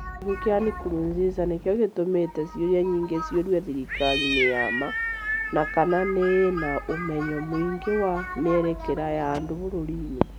Gĩkuũ kĩa Nkurunziza nĩkĩo gĩtũmĩte ciũria nyingĩ ciũrie thirikari nĩ ya ma na kana nĩ ĩĩ na ũmenyo mũingĩ wa mĩerekera ya andũ bũrũri-inĩ,